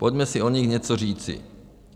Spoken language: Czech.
Pojďme si o nich něco říci.